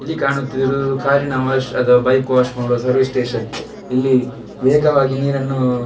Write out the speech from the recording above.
ಇಲ್ಲಿ ಕಾಣುತ್ತಿರುವುದು ಕಾರ್ ನ ವಾಶ್ ಅಥವಾ ಬೈಕ್ ವಾಶ್ ಮಾಡುವ ಸರ್ವಿಸ್ ಸ್ಟೇಷನ್ ಇಲ್ಲಿ ವೇಗವಾಗಿ ನೀರನ್ನು.